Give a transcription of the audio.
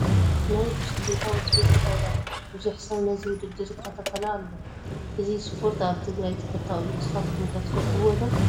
ናይ ብሽክሌታ ውድድር ይካየድ ኣሎ፡፡ ብዙሕ ሰብ ነዚ ውድድር ይከታተሎ ኣሎ፡፡ እዚ ስፖርቲ ኣብ ትግራይ ተፈታዊ እዩ፡፡ ንስኻትኩም ከ ትፈትዉዎ ዶ?